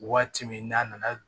Waati min n'a nana